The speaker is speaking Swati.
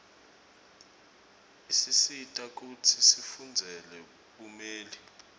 isisita kutsi sifundzele bumeli